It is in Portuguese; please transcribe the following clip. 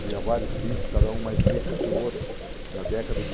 Tinha vários filhos, cada um mais rico que o outro, na década de